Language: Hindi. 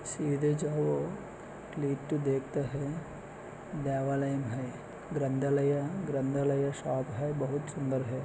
सीधे जाओ देखता है लाइन है ग्रंथलया ग्रंथलया शॉप है बहुत सुंदर है।